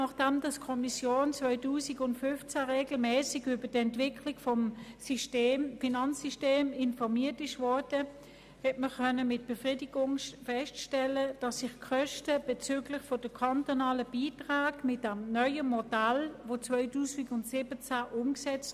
Nachdem die Kommission 2015 regelmässig über die Entwicklung des Finanzsystems informiert wurde, konnte man mit Befriedigung feststellen, dass die Kosten bezüglich der kantonalen Beiträge mit dem neuen Modell, das seit 2017 umgesetzt